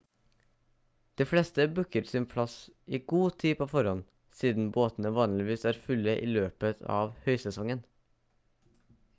de fleste booker sin plass i god tid på forhånd siden båtene vanligvis er fulle i løpet av høysesongen